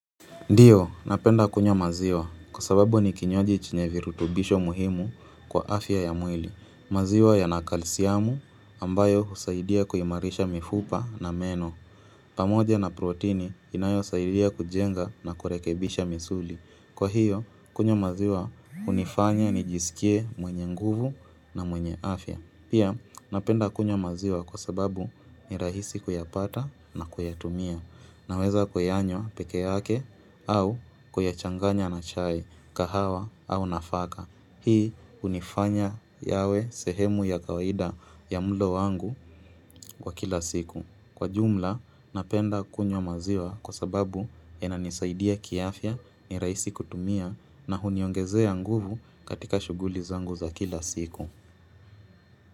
Ndiyo, napenda kunywa maziwa kwa sababu ni kinywaji chenye virutubisho muhimu kwa afya ya mwili. Maziwa ya na kalsiamu ambayo husaidia kuimarisha mifupa na meno. Pamoja na protini inayo saidia kujenga na kurekebisha misuli. Kwa hiyo, kunywa maziwa hunifanya nijisikie mwenye nguvu na mwenye afya. Pia, napenda kunywa maziwa kwa sababu ni rahisi kuyapata na kuyatumia. Naweza kuyaanywa peke yake au kuyachanganya na chai kahawa au nafaka. Hii hunifanya yawe sehemu ya kawaida ya mlo wangu kwa kila siku. Kwa jumla napenda kunywa maziwa kwa sababu inanisaidia kiafya ni rahisi kutumia na huniongezea nguvu katika shughuli zangu za kila siku.